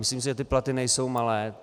Myslím si, že ty platy nejsou malé.